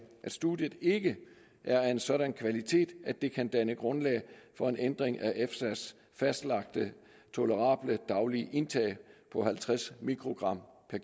at studiet ikke er af en sådan kvalitet at det kan danne grundlag for en ændring af efsas fastlagte tolerable daglige indtag på halvtreds mikrogram per